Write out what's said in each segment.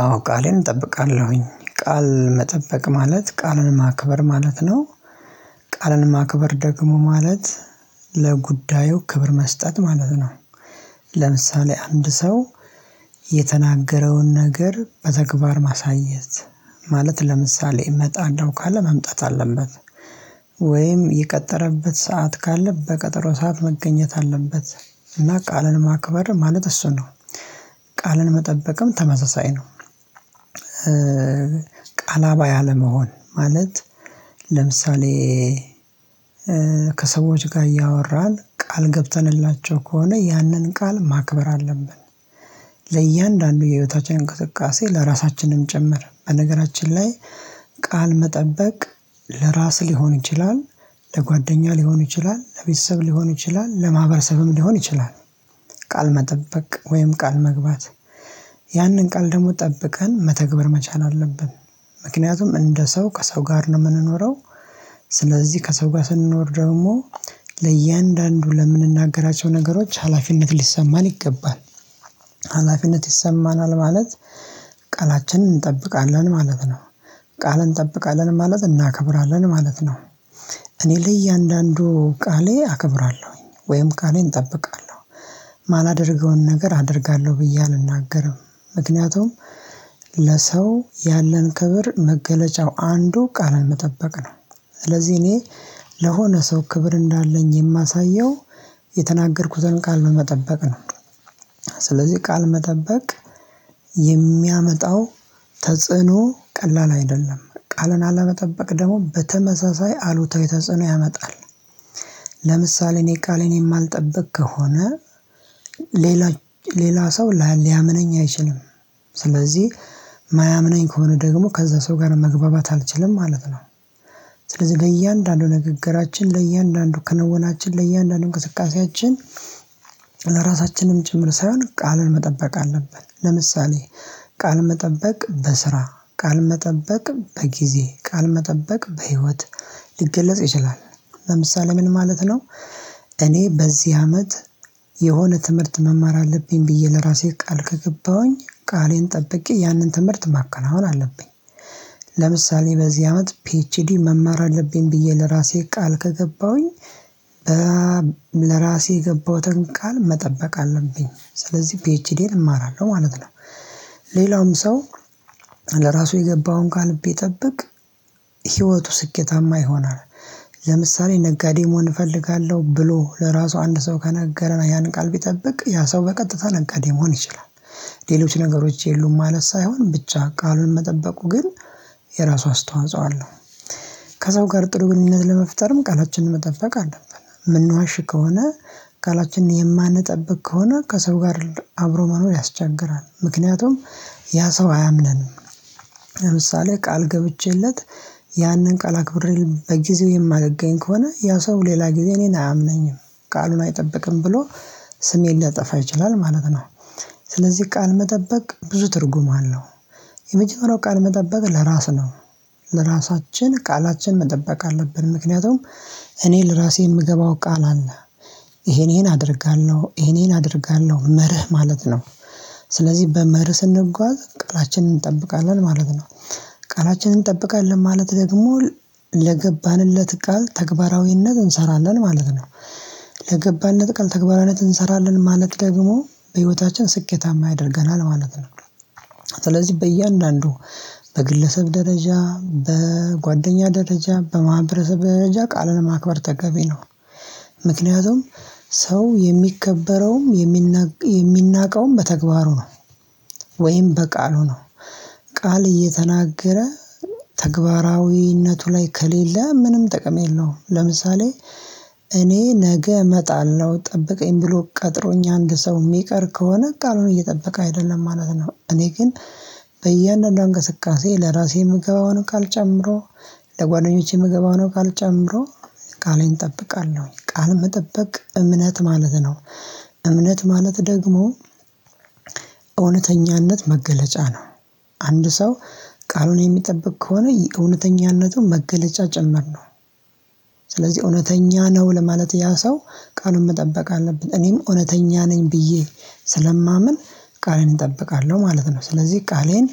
አዎ ቃሌን እጠብቃለሁኝ ቃል መጠበቅ ማለት ቃልን ማክበር ማለት ነው። ቃልን ማክበር ደግሞ ማለት ለጉዳዩ ክብር መስጠት ማለት ነው። ለምሳሌ አንድ ሰው የተናገረውን ነገር በተግባር ማሳየት ማለት ለምሳሌ እመጣለሁ ካለ መምጣት አለበት። ወይም የቀጠረበት ሰዓት ካለ በቀጠሮ ሰዓት መገኘት አለበት እና ቃልን ማክበር ማለት እሱን ነው። ቃልን መጠበቅም ተመሳሳይ ነው። ቃላባይ አለመሆን ማለት ለምሳሌ ከሰዎች ጋር እያወራን ቃል ገብተንላቸው ከሆነ ያንን ቃል ማክበር አለብን። ለእያንዳንዱ የህይወታችን እንቅስቃሴ ለራሳችንም ጭምር በነገራችን ላይ ቃል መጠበቅ ለራስ ሊሆን ይችላል። ለጓደኛ ሊሆን ይችላል ለቤተሰብ ሊሆን ይችላል ለማህበረሰብም ሊሆን ይችላል። ቃል መጠበቅ ወይም ቃል መግባት ያንን ቃል ደግሞ ጠብቀን መተግበር መቻል አለብን። ምክንያቱም እንደ ሰው ከሰው ጋር ነው ምንኖረው። ስለዚህ ከሰው ጋር ስንኖር ደግሞ ለእያንዳንዱ ለምንናገራቸው ነገሮች ሀላፊነት ሊሰማን ይገባል። ሀላፊነት ይሰማናል ማለት ቃላችንን እንጠብቃለን ማለት ነው። ቃልን እንጠብቃለን ማለት እናከብራለን ማለት ነው። እኔ ለእያንዳንዱ ቃሌ አከብራለሁኝ ወይም ቃሌን እጠብቃለሁ ማላደርገውን ነገር አደርጋለሁ ብዬ አልናገርም። ምክንያቱም ለሰው ያለን ክብር መገለጫው አንዱ ቃልን መጠበቅ ነው። ስለዚህ እኔ ለሆነ ሰው ክብር እንዳለኝ የማሳየው የተናገርኩትን ቃል በመጠበቅ ነው። ስለዚህ ቃል መጠበቅ የሚያመጣው ተጽዕኖ ቀላል አይደለም ቃልን አለመጠበቅ ደግሞ በተመሳሳይ አሉታዊ ተጽዕኖ ያመጣል። ለምሳሌ እኔ ቃሌን የማልጠብቅ ከሆነ ሌላ ሌላ ሰው ሊያምነኝ አይችልም። ስለዚህ ማያምነኝ ከሆነ ደግሞ ከዛ ሰው ጋር መግባባት አልችልም ማለት ነው። ስለዚህ ለእያንዳንዱ ንግግራችን ለእያንዳንዱ ክንወውናችን ለእያንዳንዱ እንቅስቃሴያችን ለራሳችንም ጭምር ሳይሆን ቃል መጠበቅ አለብን። ለምሳሌ ቃል መጠበቅ በስራ ቃል መጠበቅ በጊዜ ቃል መጠበቅ በህይወት ሊገለጽ ይችላል። ለምሳሌ ምን ማለት ነው? እኔ በዚህ አመት የሆነ ትምህርት መማር አለብኝ ብዬ ለራሴ ቃል ከገባሁኝ ቃሌን ጠብቄ ያንን ትምህርት ማከናወን አለብኝ። ለምሳሌ በዚህ አመት ፒኤችዲ መማር አለብኝ ብዬ ለራሴ ቃል ከገባሁኝ ለራሴ የገባሁትን ቃል መጠበቅ አለብኝ ስለዚህ ፒኤችዲየን እማራለሁ ማለት ነው። ሌላውም ሰው ለራሱ የገባውን ቃል ቢጠብቅ ህይወቱ ስኬታማ ይሆናል። ለምሳሌ ነጋዴ መሆን እፈልጋለሁ ብሎ ለራሱ አንድ ሰው ከነገረን ያን ቃል ቢጠብቅ ያ ሰው በቀጥታ ነጋዴ መሆን ይችላል። ሌሎች ነገሮች የሉም ማለት ሳይሆን ብቻ ቃሉን መጠበቁ ግን የራሱ አስተዋጽኦ አለው። ከሰው ጋር ጥሩ ግንኙነት ለመፍጠርም ቃላችንን መጠበቅ አለብን ምንዋሽ ከሆነ ቃላችንን የማንጠብቅ ከሆነ ከሰው ጋር አብሮ መኖር ያስቸግራል። ምክንያቱም ያ ሰው አያምነንም። ለምሳሌ ቃል ገብቼለት ያንን ቃል አክብሬ በጊዜው የማልገኝ ከሆነ ያ ሰው ሌላ ጊዜ እኔን አያምነኝም ቃሉን አይጠብቅም ብሎ ስሜን ሊያጠፋ ይችላል ማለት ነው። ስለዚህ ቃል መጠበቅ ብዙ ትርጉም አለው። የመጀመሪያው ቃል መጠበቅ ለራስ ነው። ለራሳችን ቃላችን መጠበቅ አለብን ምክንያቱም እኔ ለራሴ የምገባው ቃል አለ። ይሄን ይሄን አደርጋለሁ ይሄን ይሄን አደርጋለሁ መርህ ማለት ነው። ስለዚህ በመርህ ስንጓዝ ቃላችንን እንጠብቃለን ማለት ነው። ቃላችንን እንጠብቃለን ማለት ደግሞ ለገባንለት ቃል ተግባራዊነት እንሰራለን ማለት ነው። ለገባነት ቃል ተግባራነት እንሰራለን ማለት ደግሞ በህይወታችን ስኬታማ ያደርገናል ማለት ነው። ስለዚህ በእያንዳንዱ በግለሰብ ደረጃ በጓደኛ ደረጃ በማህበረሰብ ደረጃ ቃልን ማክበር ተገቢ ነው። ምክንያቱም ሰው የሚከበረውም የሚናቅ የሚናቀውም በተግባሩ ነው። ወይም በቃሉ ነው። ቃል እየተናገረ ተግባራዊነቱ ላይ ከሌለ ምንም ጥቅም የለውም። ለምሳሌ እኔ ነገ እመጣለሁ ጠብቀኝ ብሎ ቀጥሮኝ አንድ ሰው ሚቀር ከሆነ ቃሉን እየጠበቀ አይደለም ማለት ነው። እኔ ግን በያእንዳንዷ እንቅስቃሴ ለራሴ ምገባውን ቃል ጨምሮ ለጓደኞቼ የምገባውን ቃል ጨመሮ ቃሌን እጠብቃለሁ ቃል መጠበቅ እምነት ማለት ነው። እምነት ማለት ደግሞ እውነተኛነት መገለጫ ነው። አንድ ሰው ቃሉን የሚጠብቅ ከሆነ የእውነተኛነቱን መገለጫ ጨመርነው። ስለዚህ እውነተኛ ነው ለማለት ያ ሰው ቃሉን መጠበቅ አለብን እኔም እውነተኛ ነኝ ብዬ ስለማምን ቃሌን እጠብቃለሁ ማለት ነው። ስለዚህ ቃሌን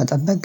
መጠበቅ